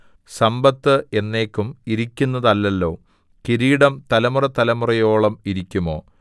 സമ്പത്ത് എന്നേക്കും ഇരിക്കുന്നതല്ലല്ലോ കിരീടം തലമുറതലമുറയോളം ഇരിക്കുമോ